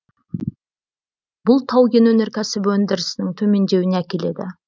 бұл тау кен өнеркәсібі өндірісінің төмендеуіне әкеледі